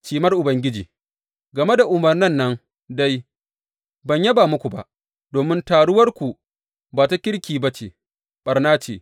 Cimar Ubangiji Game da umarnan nan dai, ban yaba muku ba, domin taruwarku ba ta kirki ba ce, ɓarna ce.